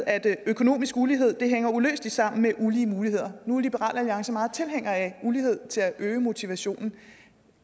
at økonomisk ulighed hænger uløseligt sammen med ulige muligheder nu er liberal alliance meget tilhængere af ulighed til at øge motivationen